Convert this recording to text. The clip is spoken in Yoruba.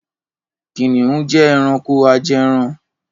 Kìnnìún jẹ́ ẹranko ajẹran.